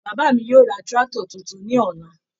Bàbá mi yóò ra tractor tuntun ní ọ̀la.